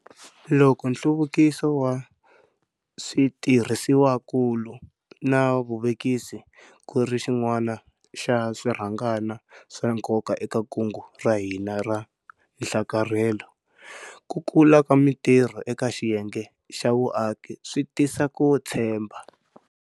Loko nhluvukiso wa switirhisiwakulu na vuvekisi ku ri xin'wana xa swirhangana swa nkoka eka kungu ra hina ra nhlakarhelo, ku kula ka mitirho eka xiyenge xa vuaki swi tisa ku tshemba.